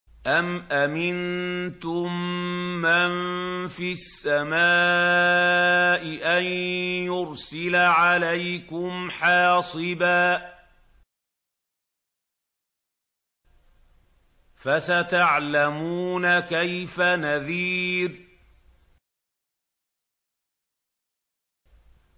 أَمْ أَمِنتُم مَّن فِي السَّمَاءِ أَن يُرْسِلَ عَلَيْكُمْ حَاصِبًا ۖ فَسَتَعْلَمُونَ كَيْفَ نَذِيرِ